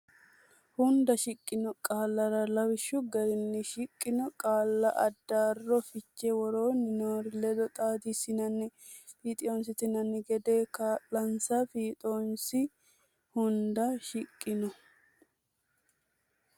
hunda shiqqino qaallarra lawishshu garinni shiqqino qaalla addaarro fiche woroonni noori ledo xaadissanni fiixonsitanno gede kaa linsa fiixoonsi hunda shiqqino.